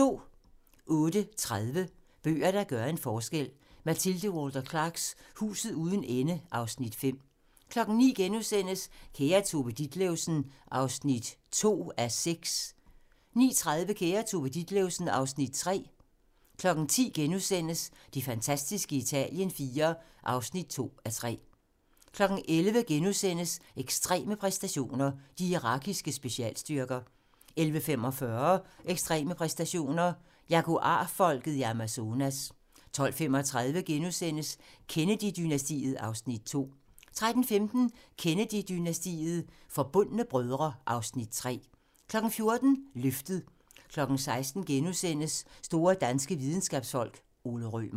08:30: Bøger, der gør en forskel: Mathilde Walter Clarks "Huset uden ende" (Afs. 5) 09:00: Kære Tove Ditlevsen (2:6)* 09:30: Kære Tove Ditlevsen (Afs. 3) 10:00: Det fantastiske Italien IV (2:3)* 11:00: Ekstreme præstationer: De irakiske specialstyrker * 11:45: Ekstreme præstationer: Jaguar-folket i Amazonas 12:35: Kennedy-dynastiet (Afs. 2)* 13:15: Kennedy-dynastiet - Forbundne brødre (Afs. 3) 14:00: Løftet 16:00: Store danske videnskabsfolk: Ole Rømer *